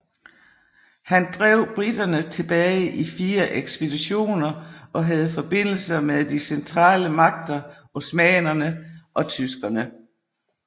Han drev briterne tilbage i fire ekspeditioner og havde forbindelser med de centrale magter osmannerne og tyskerne